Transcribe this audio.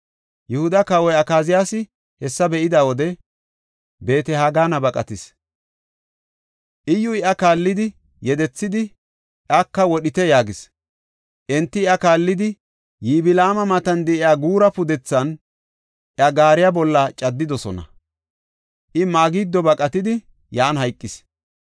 Yihuda Kawoy Akaziyaasi hessa be7ida wode, Beet-Hagana baqatis. Iyyuy iya kaallidi yedethidi, “Iyaka wodhite” yaagis. Enti iya kaallidi, Yiblaama matan de7iya Guura pudethan iya gaariya bolla caddidosona. I Magido baqatidi, yan hayqis.